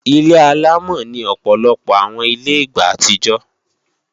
Ilé-àlámọ̀ ni Ọ̀pọ̀lọpọ̀ àwọn ilé ìgbà àtijọ́